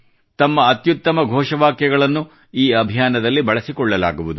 ತಮ್ಮ ಅತ್ಯುತ್ತಮ ಘೋಷವಾಕ್ಯಗಳನ್ನು ಈ ಅಭಿಯಾನದಲ್ಲಿ ಬಳಸಿಕೊಳ್ಳಲಾಗುವುದು